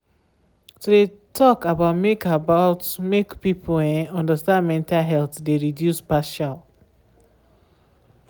to de talk about make about make people um understand mental health de reduce partial.